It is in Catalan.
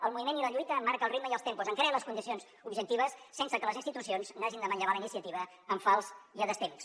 el moviment i la lluita en marquen el ritme i els tempos en creen les condicions objectives sense que les institucions n’hagin de manllevar la iniciativa en fals i a destemps